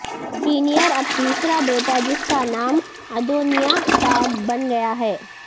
senior اب تیسرا بیٹا جس کا نام ادونیاہ تھا بن گیا ہے